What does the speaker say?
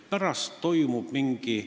Pärast seda toimub mingi ...